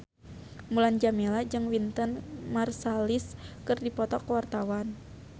Mulan Jameela jeung Wynton Marsalis keur dipoto ku wartawan